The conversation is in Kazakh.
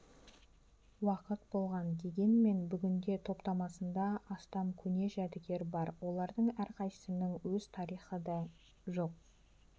уақыт болған дегенмен бүгінде топтамасында астам көне жәдігер бар олардың әрқайсысының өз тарихы да жоқ